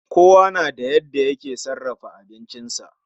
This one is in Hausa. Kowa nada yanda yake sarafa abincisa